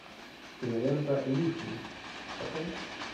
кинолента лишний покажи